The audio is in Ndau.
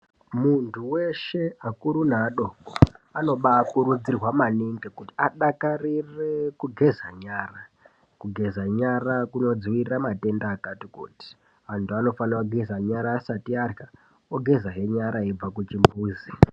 Muntu weshe akuru neadoko anobaakurudzirwa maningi kuti adakarire kugeza nyara. Kugeza nyara kunodzivirira matenda akati kuti, antu anofanira kugeza nyara asati arya, ogeza hee nyara eibve kuchimbuzi.